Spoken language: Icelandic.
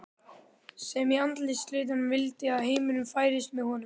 sem í andarslitrunum vildi að heimurinn færist með honum.